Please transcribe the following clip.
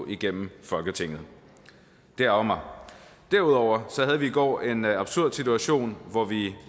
igennem folketinget derudover derudover havde vi i går en absurd situation hvor vi